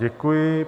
Děkuji.